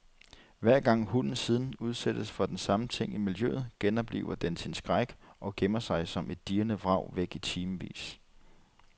Hver gang hunden siden udsættes for den samme ting i miljøet, genoplever den sin skræk og gemmer sig som et dirrende vrag væk i timevis.